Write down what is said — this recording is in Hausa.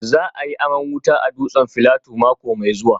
Za a yi aman wuta a dutsen Filato mako mai zuwa